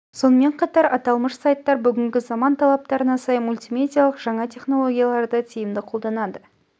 сонымен қатар аталмыш сайттар бүгінгі заман талаптарына сай мультимедиалық жаңа тенологияларды тиімді қолданады